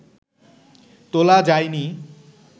তোলা যায়নি